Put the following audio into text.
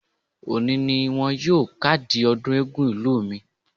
Òní ni wọn yóò kádìí ọdún eégún ìlú mi.